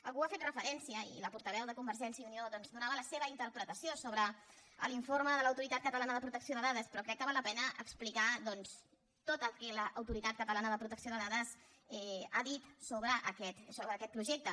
algú hi ha fet referència i la portaveu de convergència i unió donava la seva interpretació sobre l’informe de l’autoritat catalana de protecció de dades però crec que val la pena explicar doncs tot el que l’autoritat catalana de protecció de dades ha dit sobre aquest projecte